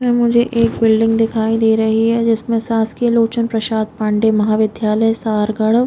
मुझे एक बुल्डिंग दिखाई रही है जिसमे शासकीय लोचन प्रसाद पांडेय महा विद्यालय सरगढ़ --